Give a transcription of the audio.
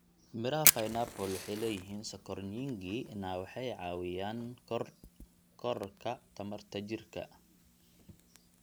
Midhaha pineappla waxay leeyihiin sonkor nyingi na waxay caawiyaan korodhka tamarta jirka.